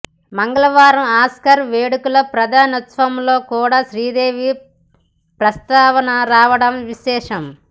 మంగళవారం ఆస్కార్ వేడుకల ప్రదానోత్సవంలో కూడా శ్రీదేవి ప్రస్తావన రావడం విశేషం